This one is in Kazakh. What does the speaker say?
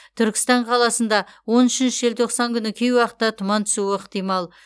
түркістан қаласында он үшінші желтоқсан күні кей уақытта тұман түсуі ықтимал